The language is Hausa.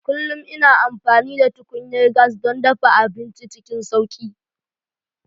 Kullum ina amfani da tukunyar gas don dafa abinci cikin sauƙi.